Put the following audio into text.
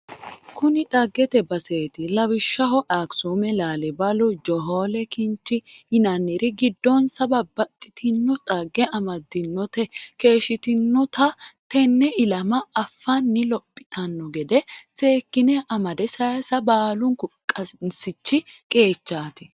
Kuni dhaggete baseti lawishshaho Akisume, Laalibalu, johole kinchi yinanniri giddonsa babbaxxitino dhagge amadinote keeshshitinotta tene ilama affani lophittano gede seekkine amade saysa baalunku qansichi qeechati.